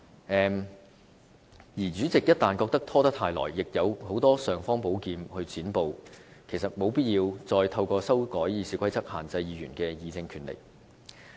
一旦主席認為拖延太久，其實也有很多尚方寶劍可以"剪布"，故沒有必要再透過修改《議事規則》限制議員的議政權力。